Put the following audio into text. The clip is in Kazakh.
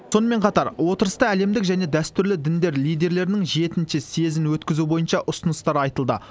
сонымен қатар отырыста әлемдік және дәстүрлі діндер лидерлерінің жетінші съезін өткізу бойынша ұсыныстар айтылды